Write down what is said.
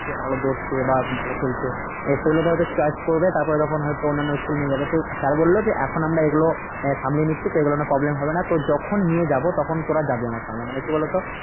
যে ভালো ধরছে বা ভালো খেলছে এ সেগুলো হয়তো choice করে তারপরে তখন হয়তো অন্যান্য school এ নিয়ে যাবে তো sir বললো যে এখন আমরা এগুলো আহ সামলে নিচ্ছি তো এগুলো নিয়ে problem হবে না তো যখন নিয়ে যাব তখন তোরা যাবি আমরা সঙ্গে মানে কি বলো তো?